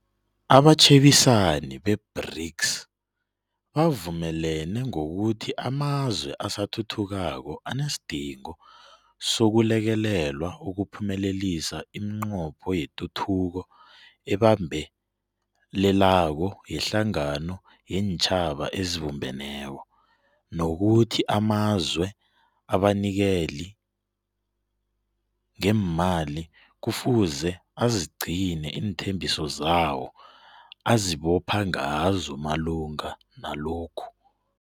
Abatjhebisani be-BRICS bavumelene ngokuthi amazwe asathuthukako anesidingo sokulekelelwa ukuphumelelisa imiNqopho yeTuthuko eBambelelako yeHlangano yeenTjhaba eziBumbeneko, nokuthi amazwe abanikeli ngeemali kufuze azigcine iinthembiso zawo azibopha ngazo malungana nalokhu.